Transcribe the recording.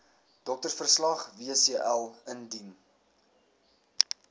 doktersverslag wcl indien